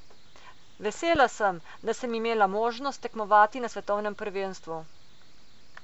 Vesela sem, da sem imela možnost tekmovati na svetovnem prvenstvu.